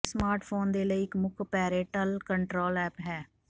ਇਹ ਸਮਾਰਟਫੋਨ ਦੇ ਲਈ ਇੱਕ ਮੁੱਖ ਪੇਰੈਂਟਲ ਕੰਟਰੋਲ ਐਪ ਹੈ